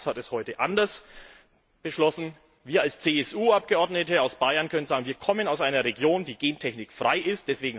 Das Haus hat es heute anders beschlossen. Wir als CSU Abgeordnete aus Bayern können sagen Wir kommen aus einer Region, die gentechnikfrei